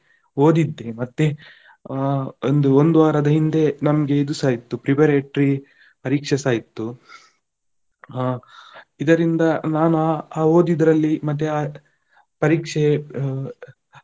ಓದಿದ್ದೆ ಮತ್ತೆ ಆ ಒಂದು ಒಂದು ಒಂದು ವಾರದ ಹಿಂದೆ ನಮ್ಗೆ ಇದುಸ ಇತ್ತು preparatory ಪರೀಕ್ಷೆಸ ಇತ್ತು. ಆ ಇದರಿಂದ ನಾನು ಆ ಓದಿದ್ರಲ್ಲಿ ಮತ್ತೆ ಆ ಪರೀಕ್ಷೆ ಆ.